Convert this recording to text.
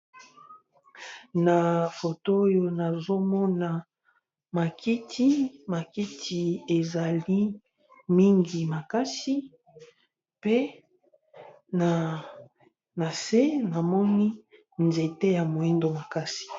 Na foto oyo nazomona ba kiti ezali mingi pe nase nazomona nzete ya mwindo makasi.